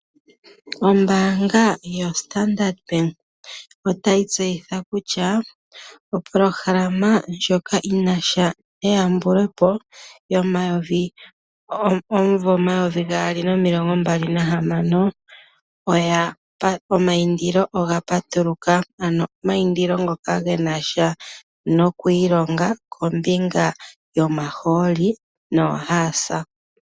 Ombaanga yoStandard Bank otayi tseyitha kutya opolohalama ndjoka yi na sha neyambulopo yomunvo 2026 omaindilo oga patuluka. Omaindilo ngoka ge nasha nokwiilonga kombinga yomahooli noohaasa.